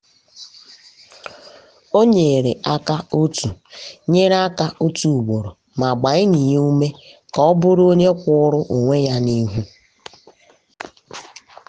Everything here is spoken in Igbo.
o nyere aka otu nyere aka otu ugboro ma gbaa enyi ya ume ka um ọ bụrụ onye kwụụrụ onwe ya n’ihu.